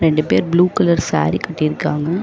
ரெண்டு பேர் blue colour sari கட்டிருக்காங்க.